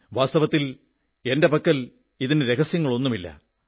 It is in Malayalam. വാസ്തവത്തിൽ എന്റെ പക്കൽ ഇതിന് രഹസ്യങ്ങളൊന്നുമില്ല